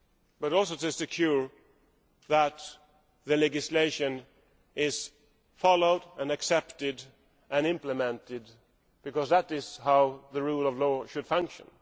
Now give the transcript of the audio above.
but also to ensure that the legislation is followed and accepted and implemented, because that is how the rule of law should function.